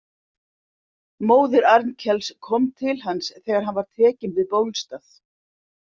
Móðir Arnkels kom til hans þegar hann var tekinn við Bólstað.